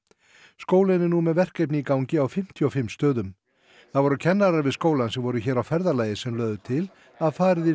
skólinn er nú með verkefni í gangi á fimmtíu og fimm stöðum það voru kennarar við skólann sem voru hér á ferðalagi sem lögðu til að farið yrði